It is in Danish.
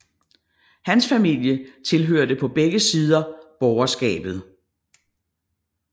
Hans familie tilhørte på begge sider borgerskabet